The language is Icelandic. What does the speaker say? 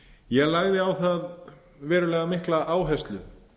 ég lagði á það verulega mikla áherslu